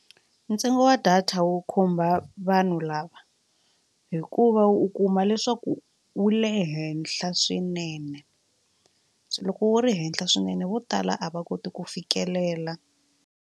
Ntsengo wa data wu khumba vanhu lava hikuva u kuma leswaku wu le henhla swinene se loko wu ri henhla swinene vo tala a va koti ku fikelela.